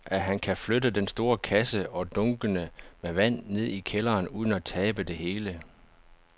Tror du, at han kan flytte den store kasse og dunkene med vand ned i kælderen uden at tabe det hele?